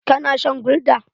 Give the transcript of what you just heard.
Ka na shan gulda?